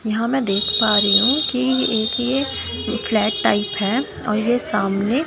यहां में देख पा रही हूं कि एक ये फ्लैट टाइप है और ये सामने--